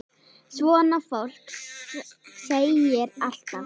Svona fólk sigrar alltaf.